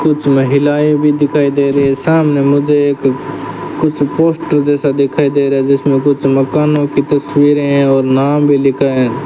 कुछ महिलाएं भी दिखाई दे रहे सामने मुझे एक कुछ पोस्टर जैसा दिखाई दे रहा है जिसमें कुछ मकानों की तस्वीरे है और नाम भी लिखा है।